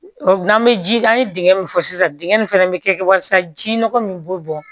n'an bɛ ji an ye dingɛ min fɔ sisan dingɛ nin fɛnɛ bɛ kɛ walasa ji nɔgɔ min b'o bɔ